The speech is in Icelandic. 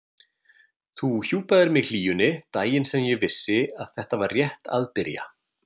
Þú hjúpaðir mig hlýjunni, daginn sem ég vissi að þetta var rétt að byrja.